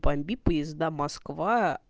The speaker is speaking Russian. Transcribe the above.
помби поезда москва